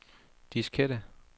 diskette